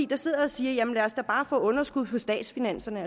der sidder og siger jamen lad os da bare få underskud på statsfinanserne